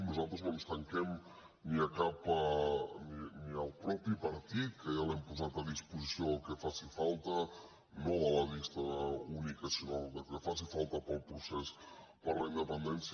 nosaltres no ens tanquem ni el mateix partit que ja l’hem posat a disposició del que faci falta no de la llista única sinó del que faci falta per al procés per la independència